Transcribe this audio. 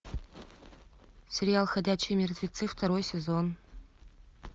сериал ходячие мертвецы второй сезон